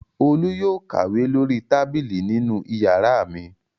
Olú yóò kàwé lórí tábìlì nínú ìyàrá mi.